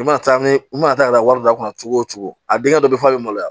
I mana taa ni i mana taa ka na wari d'a kunna cogo cogo a denkɛ bɛ fɔ i ma maloya